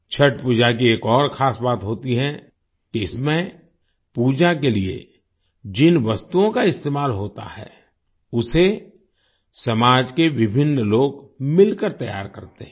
छठ पूजा की एक और ख़ास बात होती है कि इसमें पूजा के लिए जिन वस्तुओं का इस्तेमाल होता है उसे समाज के विभिन्न लोग मिलकर तैयार करते हैं